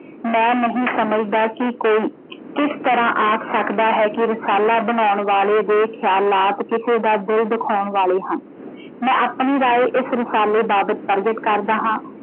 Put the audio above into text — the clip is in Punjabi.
ਮੈਂ ਨਹੀਂ ਸਮਝ ਦਾ ਕੀ ਕੋਈ ਕਿਸ ਤਰਾਂ ਆਖ ਸਕਦਾ ਹੈ ਕਿ ਰਸਾਲਾ ਬਣਾਉਣ ਵਾਲੇ ਦੇ ਖਿਆਲਾਤ ਕਿਸੇ ਦੇ ਦਿਲ ਦੁਖਾਉਣ ਵਾਲੇ ਹਨ। ਮੈਂ ਆਪਣੀ ਰਾਇ ਇਸ ਰਸਾਲੇ ਬਾਬਤ ਪ੍ਰਗਟ ਕਰਦਾ ਹਾਂ।